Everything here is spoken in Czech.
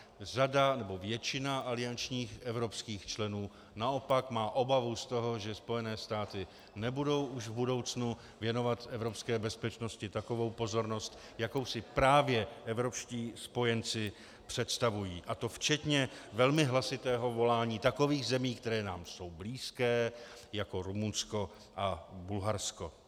Řada, nebo většina aliančních evropských členů naopak má obavu z toho, že Spojené státy nebudou už v budoucnu věnovat evropské bezpečnosti takovou pozornost, jakou si právě evropští spojenci představují, a to včetně velmi hlasitého volání takových zemí, které nám jsou blízké, jako Rumunsko a Bulharsko.